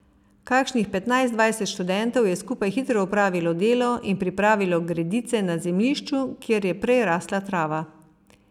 Kakšnih petnajst, dvajset študentov je skupaj hitro opravilo delo in pripravilo gredice na zemljišču, kjer je prej rasla trava.